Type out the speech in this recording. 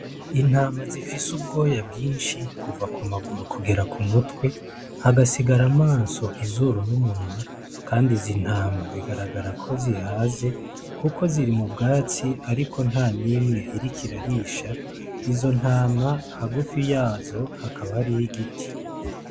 Intama zifise ubwoya bwinshi kuva ku maguru kugera ku mutwe hagasigara amaso , izuru n’umunwa kandi izi ntama bigaragara ko zihaze Kuko ziri mu bwatsi ariko nta nimwe iriko irarisha, izo ntama hagufi yazo hakaba hariyo igiti.